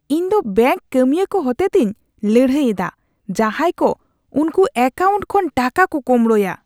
ᱤᱧᱫᱚ ᱵᱮᱝᱠ ᱠᱟᱹᱢᱤᱭᱟᱹ ᱠᱚ ᱦᱚᱛᱮᱛᱮᱧ ᱞᱟᱹᱲᱦᱟᱹᱭ ᱮᱫᱟ ᱡᱟᱦᱟᱸᱭ ᱠᱚ ᱩᱠᱩ ᱮᱠᱟᱣᱩᱱᱴ ᱠᱷᱚᱱ ᱴᱟᱠᱟ ᱠᱚ ᱠᱳᱢᱵᱲᱳᱭᱟ ᱾